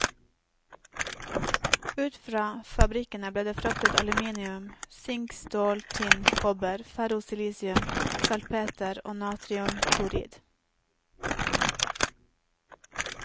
Ut fra fabrikkene ble det fraktet aluminium, sink, stål, tinn, kobber, ferrosilisium, salpeter og natriumklorid.